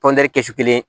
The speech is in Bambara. kɛ kɛsu kelen